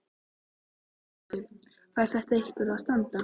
Hugrún Halldórsdóttir: Fær þetta eitthvað að standa?